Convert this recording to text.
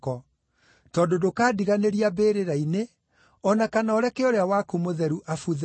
tondũ ndũkandiganĩria mbĩrĩra-inĩ, o na kana ũreke ũrĩa waku Mũtheru abuthe.